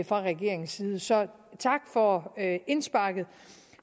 fra regeringens side så tak for indsparket